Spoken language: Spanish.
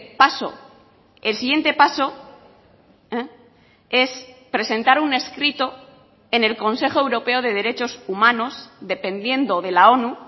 paso el siguiente paso es presentar un escrito en el consejo europeo de derechos humanos dependiendo de la onu